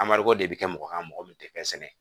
de bɛ kɛ mɔgɔ kan mɔgɔ min tɛ fɛn sɛnɛ